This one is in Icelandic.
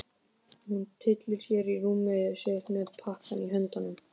Hún tyllir sér á rúmið sitt með pakkann í höndunum.